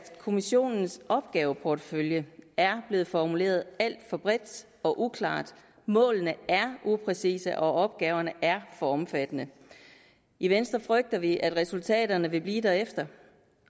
kommissionens opgaveportefølje er blevet formuleret alt for bredt og uklart målene er upræcise og opgaverne er for omfattende i venstre frygter vi at resultaterne vil blive derefter